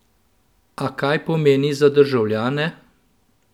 A kaj pomeni za državljane?